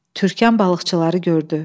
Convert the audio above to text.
Türkan balıqçıları gördü.